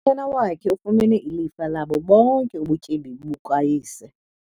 Unyana wakhe ufumene ilifa labo bonke ubutyebi bukayise.